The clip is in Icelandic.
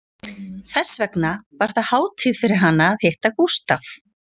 Þess vegna var það hátíð fyrir hana að hitta Gústaf